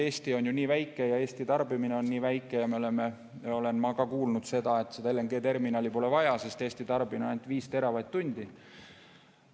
Eesti on nii väike ja Eesti tarbimine on nii väike ja ma olen ka kuulnud, et seda terminali pole vaja, sest Eesti tarbib ainult 5 teravatt-tundi.